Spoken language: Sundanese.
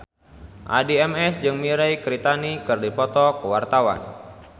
Addie MS jeung Mirei Kiritani keur dipoto ku wartawan